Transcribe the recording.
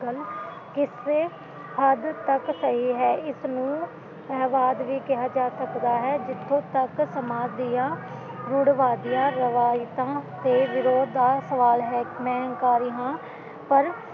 ਪਰ ਕਿਸੇ ਹੱਦ ਤੱਕ ਸਹੀ ਹੈ ਇਸਨੂੰ ਹੈਵਾਦਗ਼ੀ ਕਿਹਾ ਜਾ ਸਕਦਾ ਹੈ ਕਿ ਜਿੱਥੇ ਤੱਕ ਸਮਾਜ ਦੀਆਂ ਗੁੜਵਾਦੀਆਂ ਰਿਵਾਇਤਾਂ ਤੇ ਵਿਰੋਦ ਦਾ ਸਵਾਲ ਹੈ ਮੈਂ ਹੰਕਾਰੀ ਹਾਂ